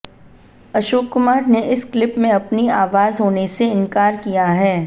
अशोक कुमार ने इस क्लिप में अपनी आवाज होने से इनकार किया है